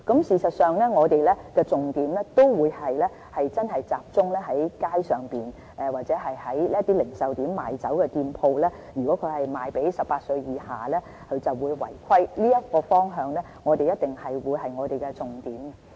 事實上，我們的重點都會集中在街上或零售點中賣酒的店鋪，如果他們售賣給18歲以下人士就會違規，這個方向一定是我們的重點。